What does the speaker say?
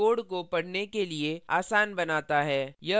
indentation code को पढ़ना के लिए आसान बनाता है